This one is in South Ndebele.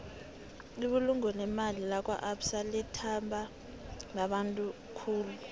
ibulungo lemali lakwaabsa litbandwa babantu khulu